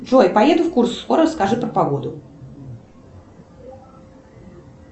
джой поеду в курск скоро скажи про погоду